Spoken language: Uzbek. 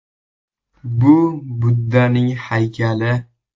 Bu Buddaning haykali.